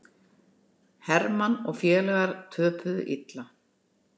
Hermann og félagar töpuðu illa